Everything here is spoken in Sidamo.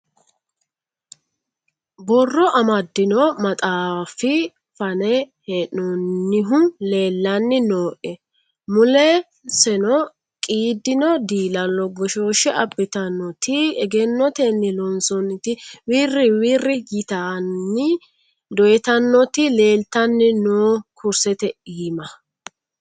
Borro amadino maxaafi fane hee'nonihu leelani nooe muleseno qiidino dilalo goshoshe abbittanoti egennoteni loonsonniti wiri wiri yittani doyittanoti leellittani no kurisete iima.